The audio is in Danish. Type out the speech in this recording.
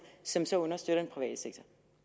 som så understøtter den private sektor